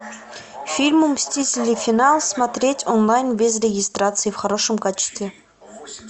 фильм мстители финал смотреть онлайн без регистрации в хорошем качестве